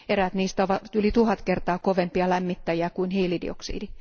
Eräät niistä ovat yli tuhat kertaa kovempia lämmittäjiä kuin hiilidioksidi.